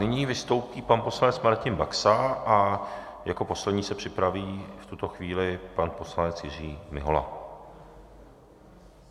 Nyní vystoupí pan poslanec Martin Baxa a jako poslední se připraví v tuto chvíli pan poslanec Jiří Mihola.